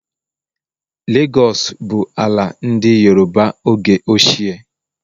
Legos bụ ala ndị Yoroba oge ochie.